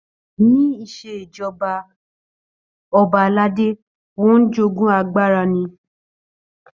Ní ìṣèjọba ọba aládé wọ́n ń jogún agbára ni.